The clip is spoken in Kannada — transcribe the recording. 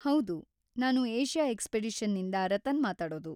ಹೌದು, ನಾನು ಏಷ್ಯಾ ಎಕ್ಸ್‌ಪಿಡಿಷನ್‌ನಿಂದ ರತನ್‌ ಮಾತಾಡೋದು.